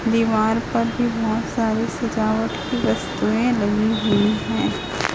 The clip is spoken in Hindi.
दीवार पर भी बहोत सारे सजावट की वस्तुएं लगी हुई है।